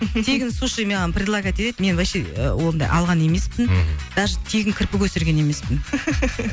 тегін суши маған предлогать етеді мен вообще ондай алған емеспін мхм даже тегін кірпік өсірген емеспін